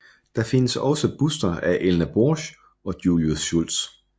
Der findes også buster af Elna Borch og Julius Schultz